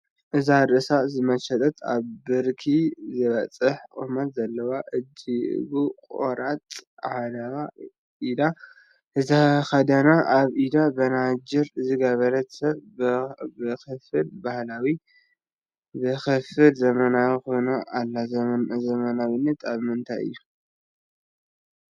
እዛ ርእሳ ዝተመሸጠት፣ ኣብ ብርኪ ዝበፅሕ ቁመት ዘለዎ እጅጊኡ ቆራፅ ዓለባ ዓዲ ዝተኸደነት፣ ኣብ ኢዳ በናጅር ዝገበረት ሰብ ብኽፋል ባህላዊት ብኽፋል ዘመናዊት ኮይና ኣላ፡፡ ዘመናዊነታ ኣብ ምንታይ እዩ?